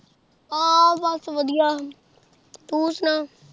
ਆ ਬਸ ਤੂੰ ਸੁਣਾ।